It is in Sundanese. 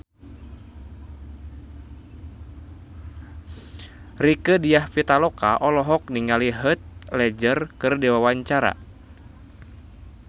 Rieke Diah Pitaloka olohok ningali Heath Ledger keur diwawancara